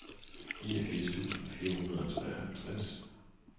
niogfirs tusind fire hundrede og treoghalvtreds